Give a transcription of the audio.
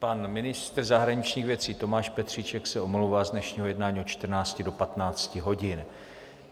Pan ministr zahraničních věcí Tomáš Petříček se omlouvá z dnešního jednání od 14.00 do 15.00 hodin.